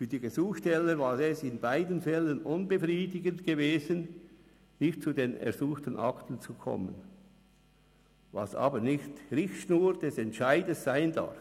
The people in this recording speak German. Für die Gesuchsteller war es in beiden Fällen unbefriedigend, nicht zu den ersuchten Akten zu kommen – was aber nicht Richtschnur des Entscheids sein darf.